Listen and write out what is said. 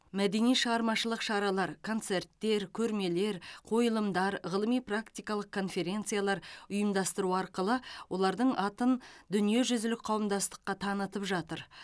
мәдени шығармашылық шаралар концерттер көрмелер қойылымдар ғылыми практикалық конференциялар ұйымдастыру арқылы олардың атын дүниежүзілік қауымдастыққа танытып жатыр